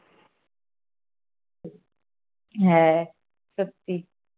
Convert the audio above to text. হ্যাঁ সত্যি